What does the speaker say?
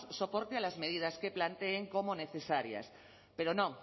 soporte a las medidas que planteen como necesarias pero no